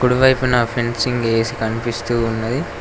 ఇరువైపున fencing ఏసి కన్పిస్తూ ఉన్నది.